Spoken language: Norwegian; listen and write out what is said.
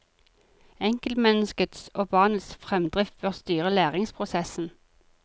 Enkeltmenneskets og barnas fremdrift bør styre læringsprosessen.